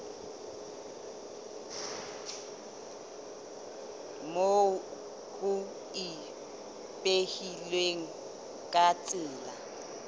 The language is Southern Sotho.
moo ho ipehilweng ka tsela